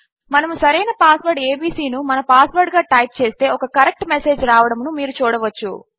మనము సరైన password ABC ను మన పాస్ వర్డ్ గా టైప్ చేస్తే ఒక కరెక్ట్ మెసేజ్ రావడమును మీరు చూడవచ్చును